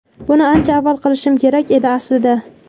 Buni ancha avval qilishim kerak edi aslida.